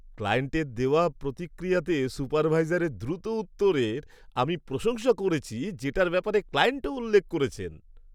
ক্লায়েন্টের দেওয়া প্রতিক্রিয়াতে সুপারভাইজারের দ্রুত উত্তরের আমি প্রশংসা করেছি যেটার ব্যাপারে ক্লায়েন্টও উল্লেখ করেছেন।